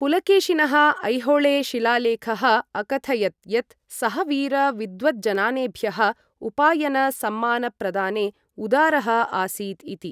पुलकेशिनः ऐहोळे शिलालेखः अकथयत् यत् सः वीर विद्वद् जनानेभ्यः उपायन सम्मान प्रदाने उदारः आसीत् इति।